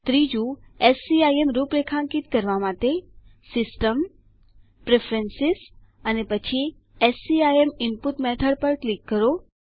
ત્રીજું એસસીઆઈએમ રૂપરેખાંકિત કરવા માટે સિસ્ટમ પ્રેફરન્સ અને પછી સીઆઈએમ ઇનપુટ મેથોડ પર ક્લિક કરો